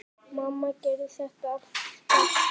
Mamma gerði þetta alltaf svona.